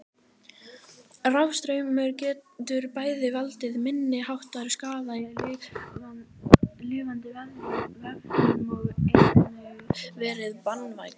Rafstraumur getur bæði valdið minniháttar skaða í lifandi vefjum og einnig verið banvænn.